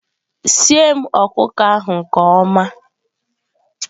sie m ọkụkọ ahụ nke ọma!